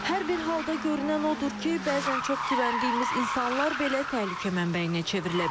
Hər bir halda görünən odur ki, bəzən çox güvəndiyimiz insanlar belə təhlükə mənbəyinə çevrilə bilir.